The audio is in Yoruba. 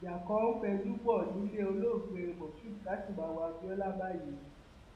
ìjà kan ń fẹjú bọ nílẹ olóògbé moshood káṣímáwo abiola báyìí o